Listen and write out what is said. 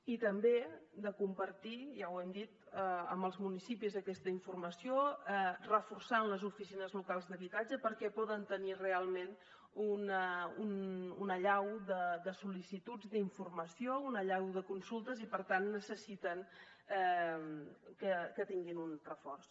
i també de compartir ja ho hem dit amb els municipis aquesta informació reforçant les oficines locals d’habitatge perquè poden tenir realment una allau de sol·licituds d’informació una allau de consultes i per tant necessiten que tinguin un reforç